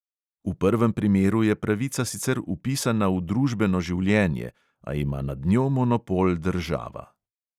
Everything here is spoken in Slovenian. V prvem primeru je pravica sicer vpisana v družbeno življenje, a ima nad njo monopol država.